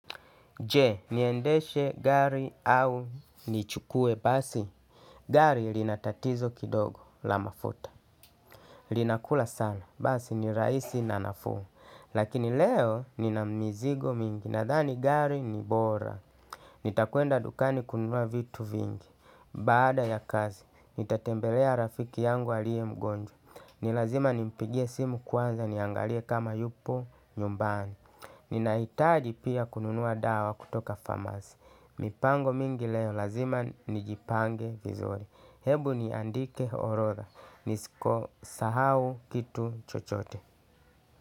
Je, niendeshe gari au nichukue basi. Gari linatatizo kidogo la mafuta. Linakula sala, basi ni rahisi na nafuu. Lakini leo nina mizigo mingi. Nadhani gari ni bora. Nitakwenda dukani kununua vitu vingi. Baada ya kazi, nitatembelea rafiki yangu aliye mgonjwa. Ni lazima nimpigie simu kwanza niangalie kama yupo nyumbani. Ninahitaji pia kununua dawa kutoka famasi mipango mingi leo lazima nijipange vizuri. Hebu niandike orodha. Nisko sahau kitu chochote.